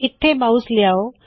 ਇੱਥੇ ਮਾਉਸ ਲਿਆਹੋ